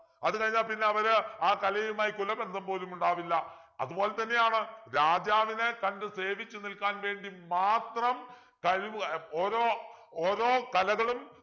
അതുകഴിഞ്ഞ പിന്നെ അവര് ആ കലയുമായി കുലബന്ധം പോലും ഉണ്ടാവില്ല അതുപോലെ തന്നെയാണ് രാജാവിനെ കണ്ടു സേവിച്ചു നിൽക്കാൻ വേണ്ടി മാത്രം കഴിവ് ഏർ ഓരോ ഓരോ കലകളും